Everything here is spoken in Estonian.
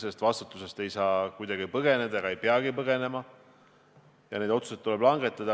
Selle vastutuse eest ei saa kuidagi põgeneda ega peagi põgenema ja need otsused tuleb langetada.